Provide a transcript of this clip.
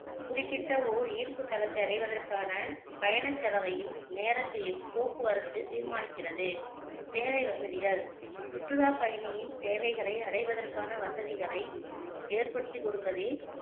குறிப்பிட்ட ஓர் ஈர்ப்பு தலத்தை அடைவதற்கான பயணச்செலவையும் நேரத்தையும் போக்குவரத்து தீர்மானிக்கிறது சேவை வசதிகள் சுற்றுலா பயணியின் தேவைகளை அடைவதற்கான வசதிகளை ஏற்படுத்திக்கொடுப்பதே